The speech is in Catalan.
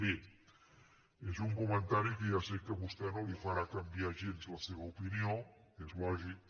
bé és un comentari que ja sé que a vostè no li farà canviar gens la seva opinió és lògic